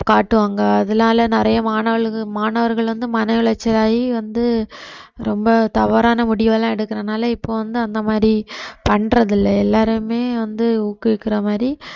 காட்டுவாங்க அதனால நிறைய மாணவர்கள் மாணவர்கள் வந்து மன உளைச்சலாகி வந்து ரொம்ப தவறான முடிவு எல்லாம் எடுக்கிறதுனால இப்ப வந்து அந்த மாதிரி பண்றது இல்ல எல்லாரையுமே வந்து ஊக்குவிக்கிற மாதிரி